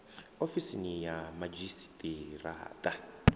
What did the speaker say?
ofisini ya madzhisi ṱira ṱa